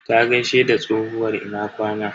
Ta gaishe da tsohuwar "Ina kwana".